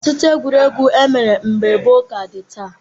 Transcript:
Ọtụtụ egwuregwu e mere mgbe gboo ka dị taa.